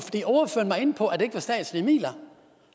inde på at det ikke var statslige midler